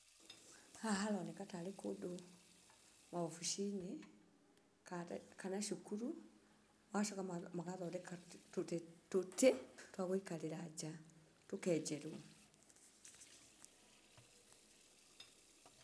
Haha haroneka tarĩ kũndũ obici-inĩ, kana cukuru. Magacoka magathondeka tũtĩ twagũikarĩra njaa, tũkenjerwo.